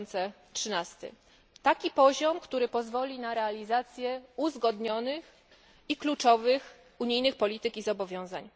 2013. Taki poziom, który pozwoli na realizację uzgodnionych i kluczowych unijnych polityk i zobowiązań.